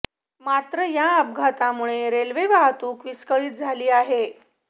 मात्र या अपघातामुळे रेल्वे वाहतूक विस्कळीत झाली आहे